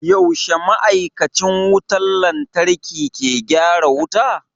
Yaushe ma'aikacin wutar lantarki ke gyara wuta?